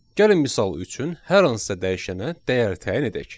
Gəlin misal üçün hər hansısa dəyişənə dəyər təyin edək.